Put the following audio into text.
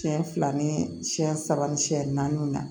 Siyɛn fila ni siyɛn saba ni siyɛn naani na